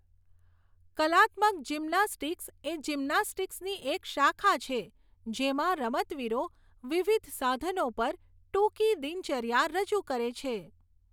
કલાત્મક જિમ્નાસ્ટિક્સ એ જિમ્નાસ્ટિક્સની એક શાખા છે જેમાં રમતવીરો વિવિધ સાધનો પર ટૂંકી દિનચર્યા રજૂ કરે છે.